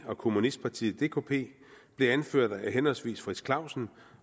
og kommunistpartiet dkp blev anført af henholdsvis frits clausen